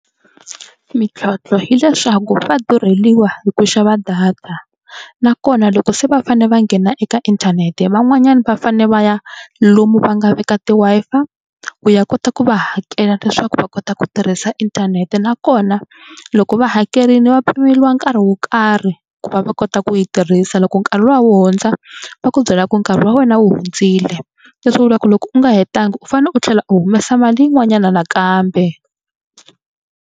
Mintlhontlho hileswaku va durheliwa hi ku xava data nakona loko se va fanele va nghena eka inthanete van'wanyana va fanele va ya lomu va nga veka ti Wi-Fi ku ya kota ku va hakela leswaku va kota ku tirhisa inthanete nakona loko va hakerile va pimeriwa nkarhi wo karhi ku va va kota ku yi tirhisa loko nkarhi luwa wu hundza va ku byela ku nkarhi wa wena wu hundzile. Leswi vulaka ku loko u nga hetanga u fanele u tlhela u humesa mali yin'wanyana nakambe.